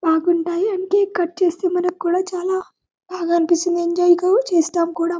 బాగుంటాయి and cake cut చేస్తే మానకుండా చాల బాగా అనిపిస్తుంది ఎంజాయ్ కూడా చేస్తాము కూడా.